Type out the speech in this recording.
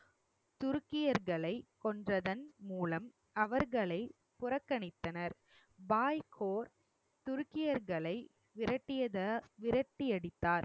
துருக்கியர்களை கொன்றதன் மூலம் அவர்களை புறக்கணித்தனர் பாய் கோர் துருக்கியர்களை விரட்டியடியத~ விரட்டியடித்தார்